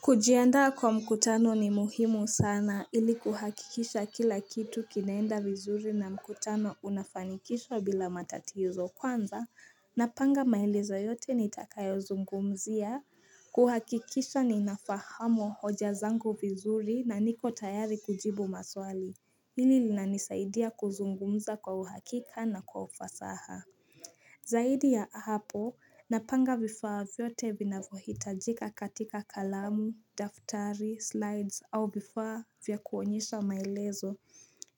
Kujianda kwa mkutano ni muhimu sana ili kuhakikisha kila kitu kinaenda vizuri na mkutano unafanikisha bila matatizo kwanza Napanga maelezo yote nitakayo zungumzia kuhakikisha ninafahamwa hoja zangu vizuri na niko tayari kujibu maswali Hili lina nisaidia kuzungumza kwa uhakika na kwa ufasaha Zaidi ya hapo, napanga vifaa vyote vinavohitajika katika kalamu, daftari, slides, au vifaa vyakuonyesha maelezo.